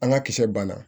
An ka kisɛ banna